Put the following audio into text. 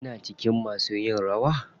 Kina cikin masu yin rawa?